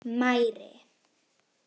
Mæri